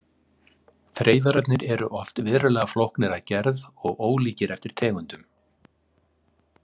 Þreifararnir eru oft verulega flóknir að gerð og ólíkir eftir tegundum.